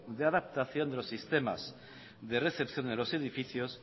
de adaptación de los sistemas de recepción de los edificios